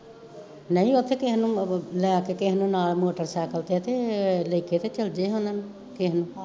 ਨਈਂ ਓਥੇ ਕਿਸੇ ਨੂੰ ਲੈਕੇ ਕਿਸੇ ਨੂੰ ਨਾਲ ਮੋਟਰਸਾਈਕਲ ਤੇ, ਤੇ ਲੈਕੇ ਤਾਂ ਚਲਜੇ ਓਨਾ ਨੂੰ ਕਿਸੇ ਨੂੰ